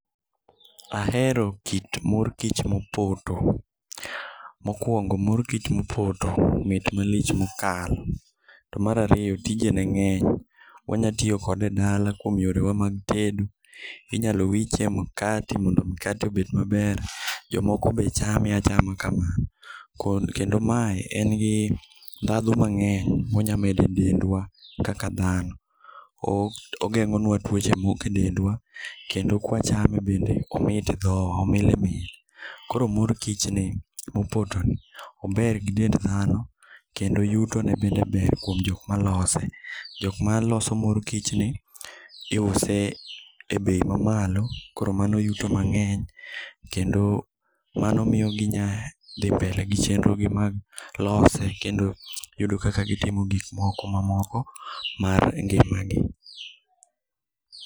Ahero kit mor kich mopoto. Mokuongo mor kich mopoto mit malich mokalo. To mar ariyo tije ne ng'eny, wanyalo tiyo kode edala kuom yorewa mag tedo, inyalo wiche e mkate mondo mikate obed maber jomoko be chame achama kamano. Kendo mae en gi ndhadhu monyalo medo edendwa mang'eny kaka dhano. Ogeng'o nua tuoche mmoko e dendwa, kendo kwachame bende omit e dhok omilimili koro mor kichni mopoto ni ober gidend dhano kendo yutone bende ber kuom jok malose. Jok maloso m,or kichni iuse ebei mamalo koro mano yuto mang'eny kendo mano miyo gi dhi mbele gi chenro gi mag lose kendo yudo kaka gitimo gik moko mamoko mar ngimagi